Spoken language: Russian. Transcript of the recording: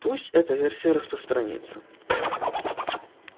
пусть эта версия распространится